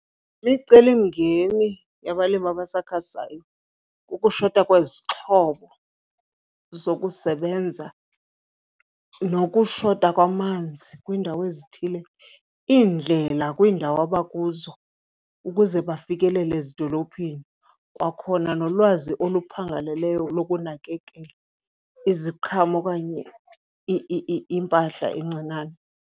Imicelimngeni yabalimi abasakhasayo kukushota kwezixhobo zokusebenza nokushota kwamanzi kwiindawo ezithile, iindlela kwiindawo abakuzo ukuze bafikelele ezidolophini, kwakhona nolwazi oluphangaleleyo lokunakekela iziqhamo okanye impahla encinane.